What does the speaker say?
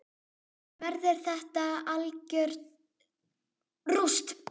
Verður þetta algjört rúst???